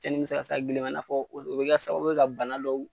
Cɛnni bi ka s'a gili ma i n'a fɔ o bi kɛ sababu ye ka bana dɔw.